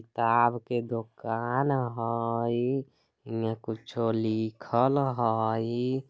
किताब के दुकान हई इमें कुछो लिखल हई।